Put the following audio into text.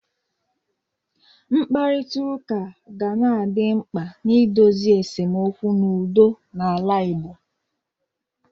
Mkparịta ụka ga na-adị mkpa n'idozi esemokwu n'udo n'ala Igbo.